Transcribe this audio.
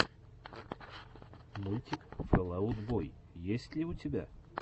мультик фэл аут бой есть ли у тебя